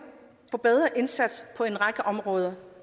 forbedret indsats på en række områder